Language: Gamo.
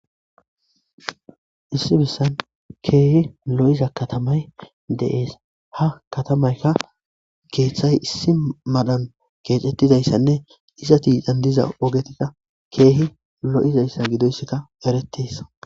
Issi besan kehi lo'iza katamay de'es ha kethayi issi malan kexetdasanee izati issi mala ogeza kehi loizasa gidoyisa eretes